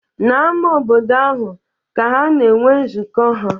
N'ámá obodo ahụ ka ha na-enwe nzukọ ha.